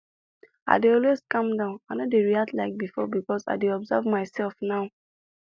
i dey always calm down i no dey react like before because i dey observe my self now